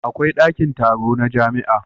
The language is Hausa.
Akwai dakin taro na jamia